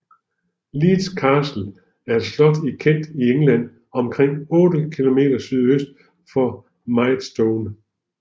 Leeds Castle er et slot i Kent i England omkring 8 km sydøst for Maidstone